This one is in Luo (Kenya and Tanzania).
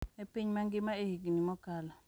E piny mangima e higni mokalo,